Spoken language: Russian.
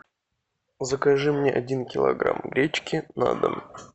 закажи мне один килограмм гречки на дом